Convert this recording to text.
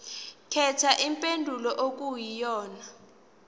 khetha impendulo okuyiyona